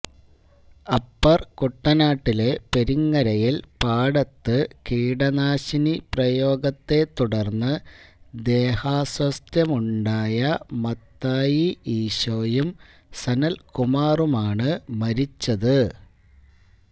upper കുട്ടനാട്ടിലെ പെരിങ്ങരയിൽ പാടത്ത് കീടനാശിനി പ്രയോഗത്തെ തുടർന്ന് ദേഹാസ്വാസ്ഥ്യമുണ്ടായ മത്തായി ഇശോയും സനൽകുമാറുമാണ് മരിച്ചത്